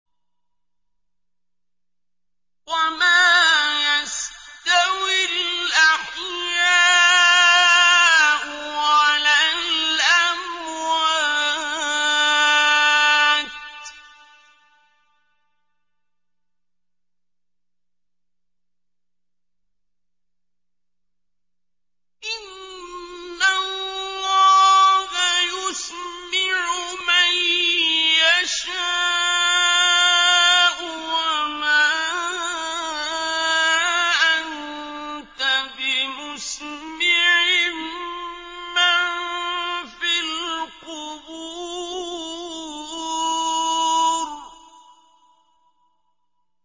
وَمَا يَسْتَوِي الْأَحْيَاءُ وَلَا الْأَمْوَاتُ ۚ إِنَّ اللَّهَ يُسْمِعُ مَن يَشَاءُ ۖ وَمَا أَنتَ بِمُسْمِعٍ مَّن فِي الْقُبُورِ